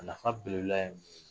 A nafa